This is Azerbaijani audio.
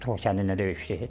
Xocavənddə döyüşdü.